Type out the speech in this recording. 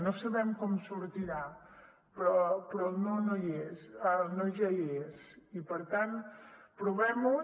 no sabem com sortirà però el no ja hi és i per tant provem ho